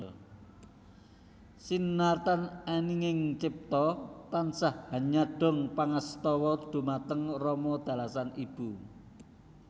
Sinartan eninging cipta tansah hanyadong pangastawa dhumateng rama dalasan ibu